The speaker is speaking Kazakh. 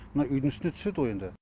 мына үйдің үстіне түседі ғой енді